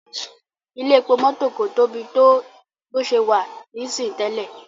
Ilé-epo mọ́tò kò Tobi to bó ṣe wá ní sìn tẹlẹ.